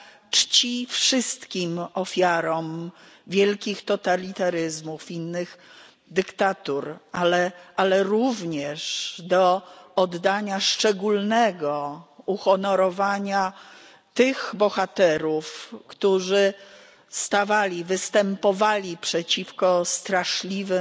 czci wszystkim ofiarom wielkich totalitaryzmów i innych dyktatur, ale również do szczególnego uhonorowania tych bohaterów, którzy występowali przeciwko straszliwym